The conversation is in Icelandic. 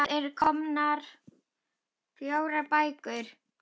Það eru komnar fjórar bækur.